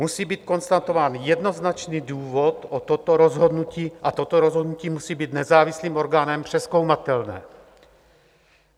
Musí být konstatován jednoznačný důvod o toto rozhodnutí a toto rozhodnutí musí být nezávislým orgánem přezkoumatelné.